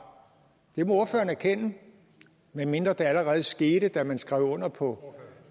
det må ordføreren erkende medmindre det allerede skete da man skrev under på